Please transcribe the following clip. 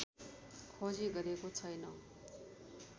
खोजी गरेको छैन